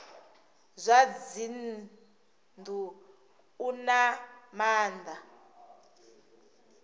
zwa dzinnu u na maana